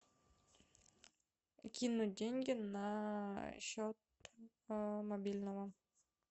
кинуть деньги на счет мобильного